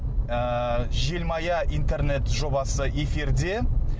ыыы желмая интернет жобасы эфирде